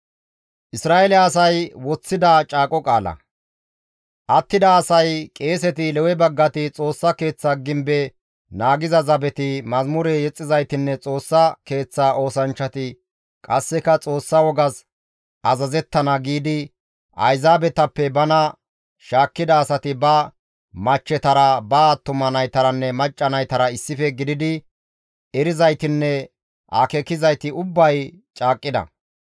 «Attida asay, qeeseti, Lewe baggati, Xoossa Keeththa gibbe naagiza zabeti, mazamure yexxizaytinne Xoossa Keeththa oosanchchati qasseka Xoossa wogas azazettana» giidi Ayzaabetappe bana shaakkida asati ba machchetara, ba attuma naytaranne macca naytara issife gididi erizaytinne akeekizayti ubbay caaqqida;